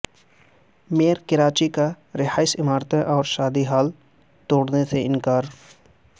mayor Karachi کا رہائشی عمارتیں اور شادی ہال توڑنے سے انکار